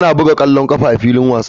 Ana buga ƙwallon ƙafa a filin wasa.